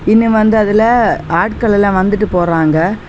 இங்க வந்து அதுல ஆட்கள் எல்லாம் வந்துட்டு போறாங்க.